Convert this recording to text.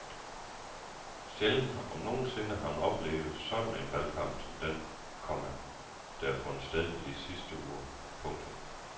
Sjældent om nogen sinde har man oplevet sådan en valgkamp som den, komma der har fundet sted de sidste uger. punktum